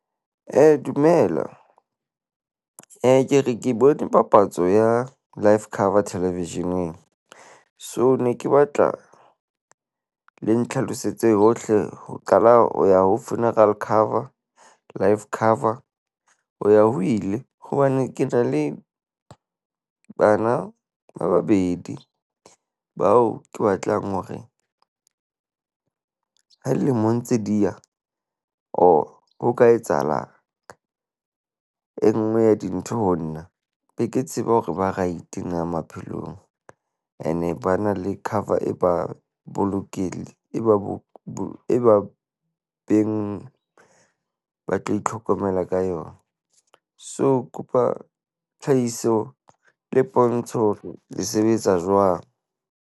Dumela ke re ke bone papatso ya life cover television-eng. So, ne ke batla le ntlhalosetse hohle, ho qala ho ya ho funeral cover, life cover ho ya ho ile. Hobane ke na le bana ba babedi bao ke batlang hore ha lemo ntse di ya, or ho ka etsahala e nngwe ya dintho ho nna, be ke tseba hore ba right na maphelong ene ba na le cover e ba , e ba bo e ba beng ba tlo itlhokomela ka yona. So, ke kopa tlhahiso le pontsho hore le sebetsa jwang?